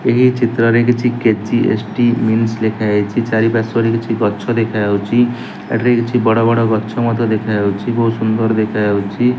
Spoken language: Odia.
ଏହି ଚିତ୍ରରେ କିଛି କେ_ଜି_ଏସ_ଟି ମିନସ୍ ଲେଖାଯାଇଚି। ଚାରିପାର୍ଶ୍ବରେ କିଛି ଗଛ ଦେଖାଯାଉଚି। ଏଠାରେ କିଛି ବଡ ବଡ ଗଛ ମଧ୍ଯ ଦେଖାଯାଉଚି। ବହୁତ ସୁନ୍ଦର ଦେଖାଯାଉଚି।